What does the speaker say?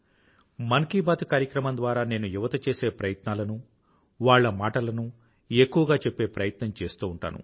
మన్ కీ బాత్ కార్యక్రమం ద్వారా నేను యువత చేసే ప్రయత్నాలనూ వాళ్ల మాటలనూ ఎక్కువగా చెప్పే ప్రయత్నం చేస్తూ ఉంటాను